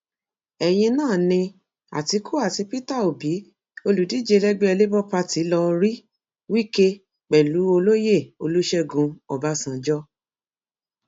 ẹyìn náà ni àtìkú àti peter obi olùdíje lẹgbẹ labour party lọọ rí wike pẹlú olóyè olùṣègùn ọbànjọ